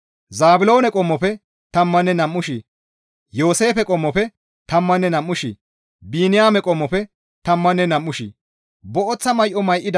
Zaabiloone qommofe tammanne nam7u shii, Yooseefe qommofe tammanne nam7u shii, Biniyaame qommofe tammanne nam7u shii.